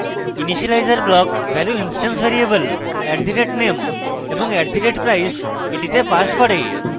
initialiser block value instance variable @name এবং @price এ passes করে